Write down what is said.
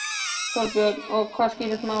Þorbjörn: Og þá skýrast málin?